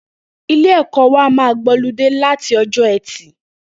Ilé ẹkọ wà mà gbọlìdé làtí ọjọ ẹti